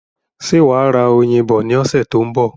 Ṣé wà á ra oyin bọ ní ọ̀sẹ̀ tó ń bọ̀?